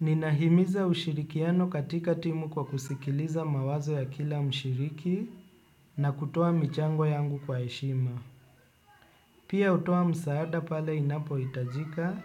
Ninahimiza ushirikiano katika timu kwa kusikiliza mawazo ya kila mshiriki na kutoa michango yangu kwa eshima. Pia utoa msaada pale inapo itajika